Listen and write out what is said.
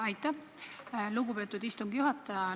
Aitäh, lugupeetud istungi juhataja!